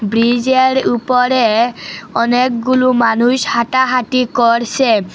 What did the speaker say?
ব্রিজের উপরে অনেকগুলো মানুষ হাঁটাহাঁটি করসে।